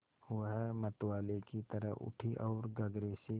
वह मतवाले की तरह उठी ओर गगरे से